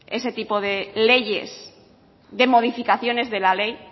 ese tipo de leyes de modificaciones de la ley